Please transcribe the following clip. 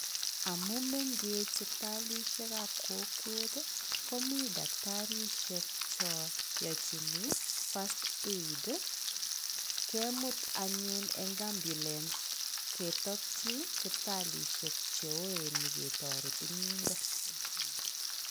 Amu mengech sipitalishekab kokwet ii, komi daktarisiek cho yochini first aid ii, kemut anyun eng ambulance ketokchi sipitalishek che ooen nyiketoret eng yundo.